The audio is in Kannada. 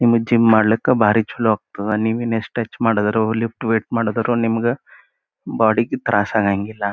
ನಿಮಗ್ ಜಿಮ್ ಮಾಡ್ಲಿಕ್ಕಾ ಬಾರಿ ಚಲೋ ಆಗ್ತಾದ. ನೀವ್ ಇನ್ ಯೆಸ್ಟ್ ಟಚ್ ಮಾಡಿದ್ರು ಲಿಫ್ಟ್ ವೆಯಿಟ್ ಮಾಡಿದ್ರು ನಿಮಗೆ ಬಾಡಿಗೆ ತ್ರಾಸ್ ಆಗಂಗಿಲ್ಲ